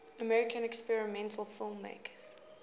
american experimental filmmakers